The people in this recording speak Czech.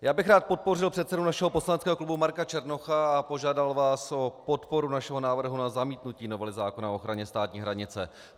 Já bych rád podpořil předsedu našeho poslaneckého klubu Marka Černocha a požádal vás o podporu našeho návrhu na zamítnutí novely zákona o ochraně státní hranice.